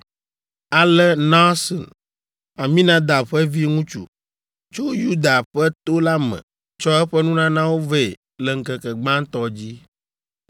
Ale Nahson, Aminadab ƒe viŋutsu, tso Yuda ƒe to la me tsɔ eƒe nunanawo vɛ le ŋkeke gbãtɔ dzi.